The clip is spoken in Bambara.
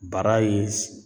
Bara ye